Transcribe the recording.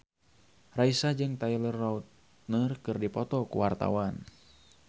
Raisa jeung Taylor Lautner keur dipoto ku wartawan